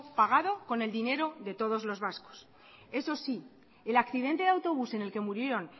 pagado con el dinero de todos los vascos eso sí el accidente de autobús en el que murieron